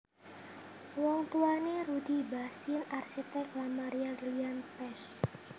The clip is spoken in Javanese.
Wong tuwané Rudy Bachsin arsitek lan Maria Lilian Pesch